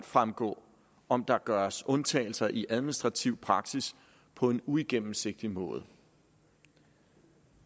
fremgå om der gøres undtagelser i administrativ praksis på en uigennemsigtig måde